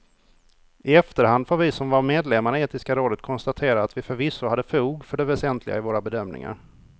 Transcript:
I efterhand får vi som var medlemmar i etiska rådet konstatera att vi förvisso hade fog för det väsentliga i våra bedömningar.